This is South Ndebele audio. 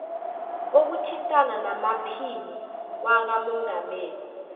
kokuthintana namaphini wakamongameli